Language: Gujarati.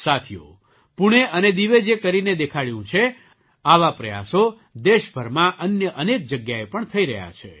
સાથીઓ પૂણે અને દીવે જે કરીને દેખાડ્યું છે આવા પ્રયાસો દેશભરમાં અન્ય અનેક જગ્યાએ પણ થઈ રહ્યા છે